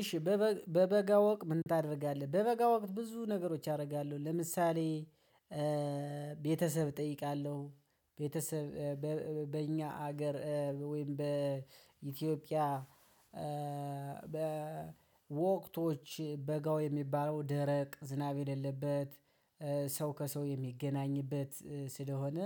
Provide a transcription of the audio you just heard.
እሺ በበጋ ወቅት ምን ታደርጋለህ? በበጋ ወቅት ብዙ ነገሮች አደርጋለሁ ለምሳሌ ቤተሰብ እጠይቃለሁ ቤተሰብ በእኛ ሀገር ወይም በኢትዮጵያ። በወቅቶች በጋው የሚባለው ደረቅ ዝናብ የሌለበት ሰው ከሰው የሚገናኝበት ስለሆነ